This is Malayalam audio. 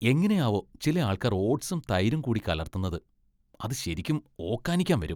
എങ്ങനെയാവോ ചില ആൾക്കാർ ഓട്സും , തൈരും കൂടി കലർത്തുന്നത്? അത് ശെരിക്കും ഓക്കാനിക്കാൻ വരും .